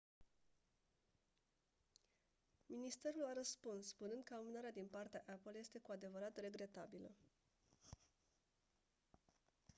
ministerul a răspuns spunând că amânarea din partea apple este «cu adevărat regretabilă».